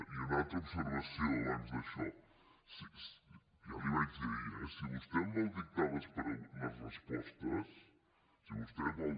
i una altra observació abans d’això ja l’hi vaig dir ahir eh si vostè em vol dictar les respostes si vostè vol